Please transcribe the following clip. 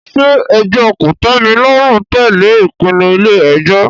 Ṣé ẹjọ́ kòtẹ́milọ́rùn tẹ̀lé ìpinnu ilé ẹjọ́?